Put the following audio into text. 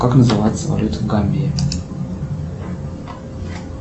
как называется валюта гамбии